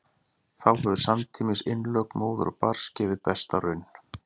þá hefur samtímis innlögn móður og barns gefið besta raun